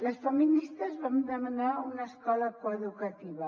les feministes vam demanar una escola coeducativa